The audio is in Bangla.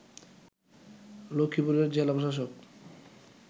লক্ষীপুরের জেলা প্রশাসক